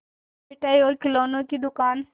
तब मिठाई और खिलौने की दुकान